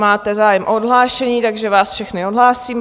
Máte zájem o odhlášení, takže vás všechny odhlásím.